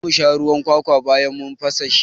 Za mu sha ruwan kwakwa bayan mun fasa shi.